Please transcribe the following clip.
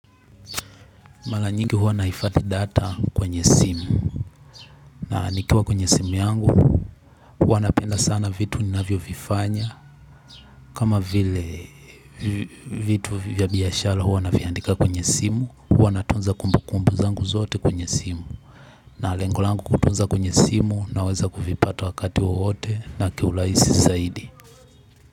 Mala nyingi huwa naifadhi data kwenye simu na nikiwa kwenye simu yangu huwa napenda sana vitu ni navyo vifanya kama vile vitu ya biashala huwa na viandika kwenye simu huwa natunza kumbu kumbu zangu zote kwenye simu na lengo langu kutunza kwenye simu na weza kuvipata wakati wowote na kiulaisi zaidi.